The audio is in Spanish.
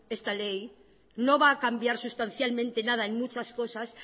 esta ley no va a cambiar sustancialmente nada en muchas cosas